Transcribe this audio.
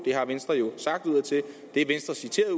det har venstre jo sagt udadtil og det er venstre citeret